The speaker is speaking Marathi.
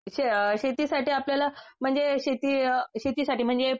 शेतीसाठी आपल्याला म्हणजे शेती अ शेतीसाठी